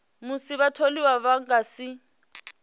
musi vhatholiwa vha nga si